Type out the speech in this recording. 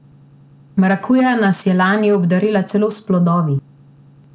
Marakuja nas je lani obdarila celo s plodovi!